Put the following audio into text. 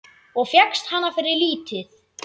Og fékkst hana fyrir lítið!